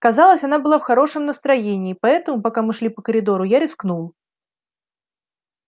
казалось она была в хорошем настроении поэтому пока мы шли по коридору я рискнул